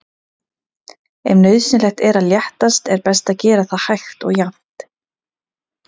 Ef nauðsynlegt er að léttast er best að gera það hægt og jafnt.